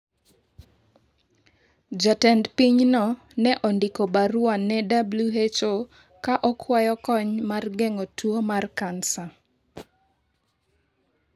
Jatend pinyno ne ondiko barua ne WHO ka okwayo kony mar geng’o tuo mar kansa.